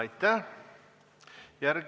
Aitäh!